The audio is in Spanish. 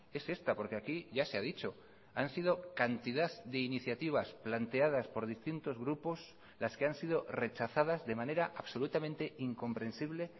es esta porque aquí ya se ha dicho han sido cantidad de iniciativas planteadas por distintos grupos las que han sido rechazadas de manera absolutamente incomprensible